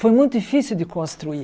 Foi muito difícil de construir.